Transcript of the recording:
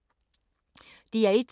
DR1